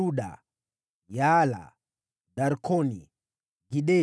wazao wa Yaala, Darkoni, Gideli,